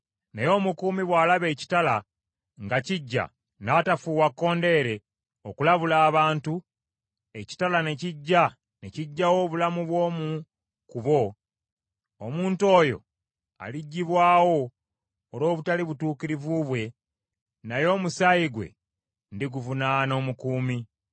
Naye omukuumi bw’alaba ekitala nga kijja n’atafuuwa kkondeere okulabula abantu, ekitala ne kijja ne kigyawo obulamu bw’omu ku bo, omuntu oyo aliggyibwawo olw’obutali butuukirivu bwe, naye omusaayi gwe ndiguvunaana omukuumi.’